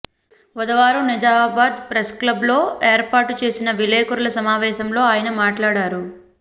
బుధవారం నిజామాబాద్ ప్రెస్క్లబ్లో ఏర్పాటు చేసిన విలేకరుల సమావేశంలో ఆయన మాట్లాడారు